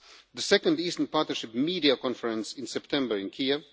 the second Eastern Partnership Media Conference in September in Kiev